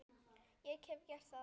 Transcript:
Ég hef gert það.